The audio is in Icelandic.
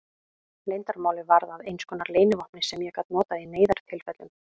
Leyndarmálið varð að einskonar leynivopni sem ég gat notað í neyðartilfellum.